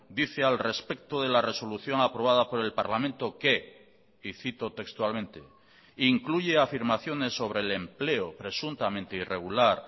dice al respecto de la resolución aprobada por el parlamento que y cito textualmente incluye afirmaciones sobre el empleo presuntamente irregular